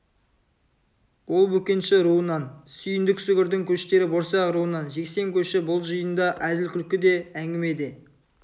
ол бөкенші руынан сүйіндік сүгірдің көштері борсақ руынан жексен көші бұл жиында әзіл-күлкі де әңгіме де